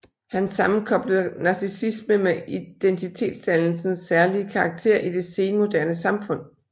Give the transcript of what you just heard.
Han sammenkoblede narcissisme med identitetsdannelsens særlige karakter i det senmoderne samfund